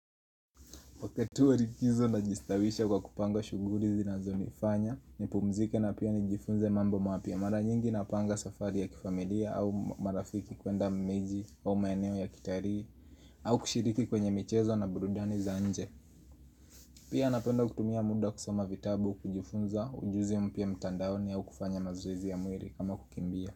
Wakati wa likizo na jistawisha kwa kupanga shugurlli zinazo nifanya nipumzike na pia nijifunze mambo mapya Mara nyingi na panga safari ya kifamilia au marafiki kwenda mmeji au mayeneo ya kitarii au kushiriki kwenye michezo na burudani za nje Pia napenda kutumia muda kusama vitabu kujifunza ujuzi mpya mtandaoni au kufanya mazoezi ya mwili kama kukimbia.